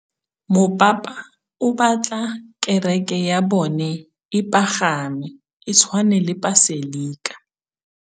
Mopapa o batla kereke ya bone e pagame, e tshwane le paselika.